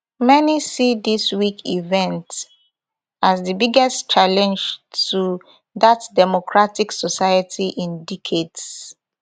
many see dis week event as di biggest challenge to dat democratic society in decades